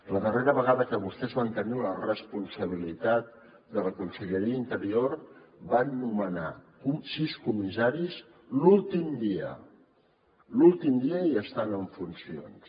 la darrera vegada que vostès van tenir la responsabilitat de la conselleria d’interior van nomenar sis comissaris l’últim dia l’últim dia i estant en funcions